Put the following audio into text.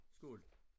Skål